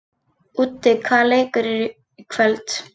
Úddi, hvaða leikir eru í kvöld?